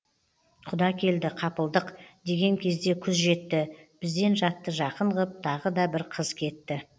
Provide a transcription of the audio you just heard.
құда келді қапылдық деген кезде күз жетті бізден жатты жақын ғып тағы да бір қыз кетті